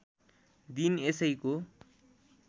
दिन यसैको